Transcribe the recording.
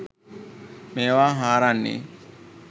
මේවා හාරන්නේ?